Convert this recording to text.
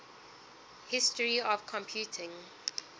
history of computing